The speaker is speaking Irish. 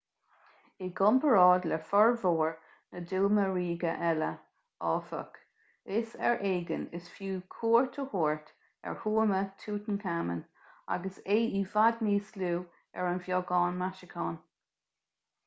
i gcomparáid le formhór na dtuama ríoga eile áfach is ar éigean is fiú cuairt a thabhairt ar thuama tutankhamun agus é i bhfad níos lú agus ar bheagán maisiúcháin